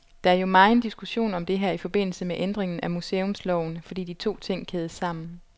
Der er jo megen diskussion om det her i forbindelse med ændringen af museumsloven, fordi de to ting kædes sammen.